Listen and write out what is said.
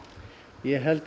ég held